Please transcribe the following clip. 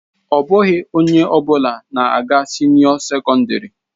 Ọ bụghị onye ọ bụla na-aga sinio secondary.